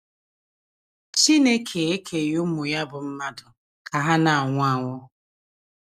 CHINEKE ekeghị ụmụ ya bụ́ mmadụ ka ha na - anwụ anwụ.